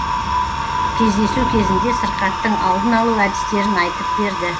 кездесу кезінде сырқаттың алдын алу әдістерін айтып берді